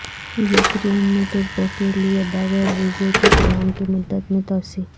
Ukraine میں ترکوں کے لیے بغیر ویزے کے قیام کی مدت میں توسیع